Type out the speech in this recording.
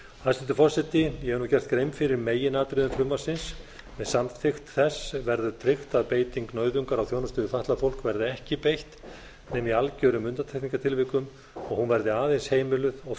forseti ég hef nú gert grein fyrir meginatriðum frumvarpsins með samþykkt þess verður tryggt að beiting nauðungar á þjónustu við fatlað fólk verði ekki beitt nema í algjörum undantekningartilvikum og hún verði aðeins heimiluð og